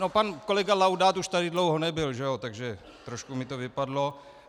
No, pan kolega Laudát už tady dlouho nebyl, takže trošku mi to vypadlo.